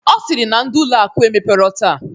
Ọ sịrị na ndị ụlọ akụ emepero taa.